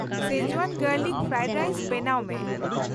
Schezwan garlic fried rice ᱵᱮᱱᱟᱣ ᱢᱮ ᱾